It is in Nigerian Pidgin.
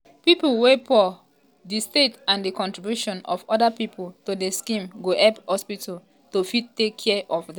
"pipo wey poor-poor di state and di contribution of oda pipo to di scheme go help hospital to fit take care of dem.